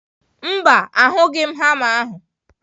Mba, ahughị m hama ahụ.